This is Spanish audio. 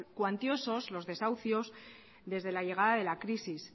cuantiosos los desahucios desde la llegada de la crisis